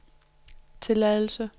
tilladelse